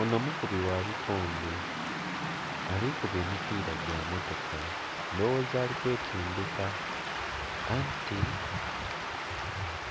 Ono mukubi gha bikonde, ali kuba emipiira gya mmotoka, ndhowoza ali kwetendheka. Anti